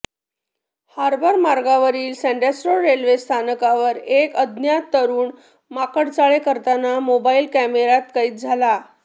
harbour मार्गावरील Sandhurst road railway स्थानकावर एक अज्ञात तरुण माकडचाळे करताना मोबाईल कॅमेऱ्यात कैद झाला